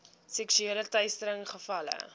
seksuele teistering gevalle